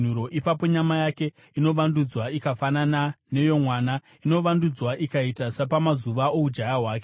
ipapo nyama yake inovandudzwa ikafanana neyomwana; inovandudzwa ikaita sapamazuva oujaya hwake.